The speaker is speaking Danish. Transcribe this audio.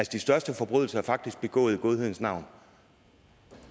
de største forbrydelser er faktisk begået i godhedens navn